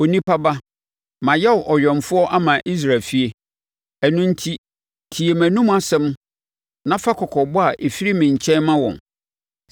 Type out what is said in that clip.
“Onipa ba, mayɛ wo ɔwɛmfoɔ ama Israel efie, ɛno enti tie mʼanum nsɛm na fa kɔkɔbɔ a ɛfiri me nkyɛn ma wɔn.